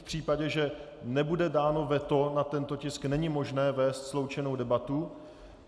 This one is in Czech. V případě, že nebude dáno veto na tento tisk, není možné vést sloučenou debatu.